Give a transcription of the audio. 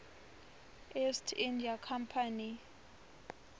east india company